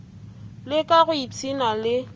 le ka go ipshina le